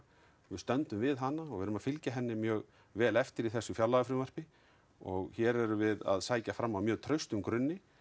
við stöndum við hana og verðum að fylgja henni mjög vel eftir í þessu fjárlagafrumvarpi og hér erum við að sækja fram á mjög traustum grunni